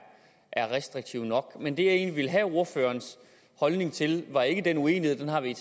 er restriktive nok men det jeg egentlig ville have ordførerens holdning til var ikke den uenighed den har vi